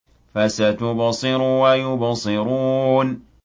فَسَتُبْصِرُ وَيُبْصِرُونَ